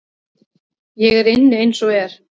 Ég er inni eins og er.